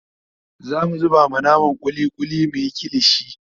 zamu zuba ma naman kulli kulli muyi kilishi